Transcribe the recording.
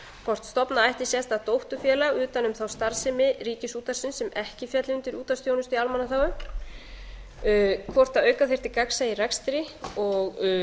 hvort stofna eigi sérstakt dótturfélag utan um starfsemi ríkisútvarpsins sem ekki félli undir útvarpsþjónustu í almannaþágu hvort auka þyrfti gagnsæis í rekstri og